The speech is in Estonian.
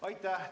Aitäh!